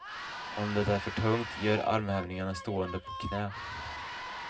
Om det är det för tungt, gör armhävningarna stående på knä.